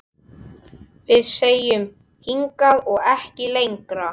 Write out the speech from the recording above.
Við segjum: Hingað og ekki lengra!